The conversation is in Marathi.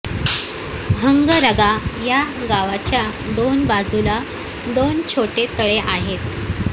हंगरगा या गावाच्या दोन बाजूला दोन छोटे तळे आहेत